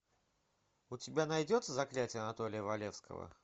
у тебя найдется заклятие анатолия валевского